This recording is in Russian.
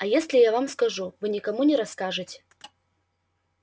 а если я вам скажу вы никому не расскажете